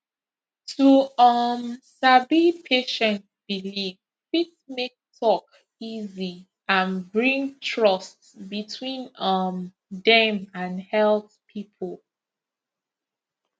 to um sabi patient belief fit make talk easy and bring trust between um dem and health people